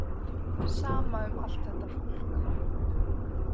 Sama um allt þetta fólk.